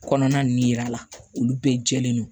Kɔnɔna ninnu yira la olu bɛɛ jɛlen don